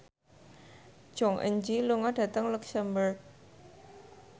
Jong Eun Ji lunga dhateng luxemburg